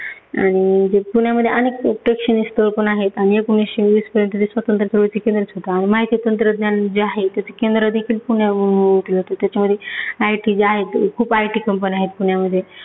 आणि जे पुण्यामध्ये अनेक प्रेक्षणीय स्थळ पण आहेत. आणि एकोणीसशे वीसपर्यंत जे स्वातंत्र्य . माहिती तंत्रज्ञान जे आहे त्याचे केंद्र देखील पुण्यामुळे ओळखले जाते. त्याच्यामध्ये IT जे आहेत खूप IT companies आहेत पुण्यामध्ये